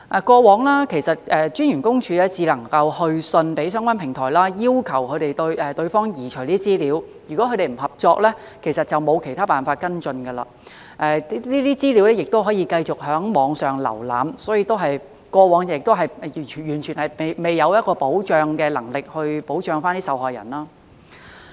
過往私隱公署只能去信相關平台，要求對方移除資料，而如果他們不合作，其實並沒有其他方法跟進，這些資料仍可繼續在網上瀏覽，所以，過往是完全沒有保障的能力來保障受害人。